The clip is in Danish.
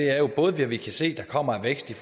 er både hvad vi kan se der kommer af vækst i